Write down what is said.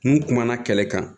N kumana kɛlɛ kan